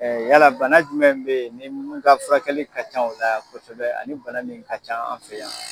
Yala bana jumɛn be ye ni mun n ka furakɛli ka ca ola kosɛbɛ ani bana min ka ca an fɛ yan